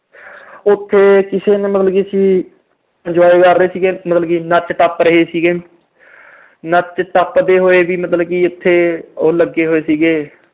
ਉਥੇ ਕਿਸੇ ਨੇ ਮਤਲਬ ਅਸੀਂ enjoy ਕਰ ਰਹੇ ਸੀ, ਮਤਲਬ ਕਿ ਨੱਚ-ਟੱਪ ਰਹੇ ਸੀਗੇ, ਨੱਚਦੇ-ਟੱਪਦੇ ਹੋਏ ਵੀ ਮਤਲਬ ਉਥੇ ਉਹ ਲੱਗੇ ਹੋਏ ਸੀਗੇ